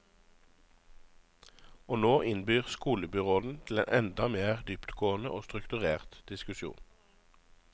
Og nå innbyr skolebyråden til en enda mer dyptgående og strukturert diskusjon.